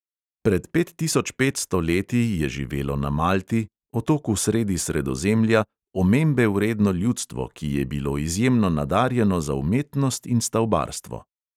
Pred pet tisoč petsto leti je živelo na malti, otoku sredi sredozemlja, omembe vredno ljudstvo, ki je bilo izjemno nadarjeno za umetnost in stavbarstvo.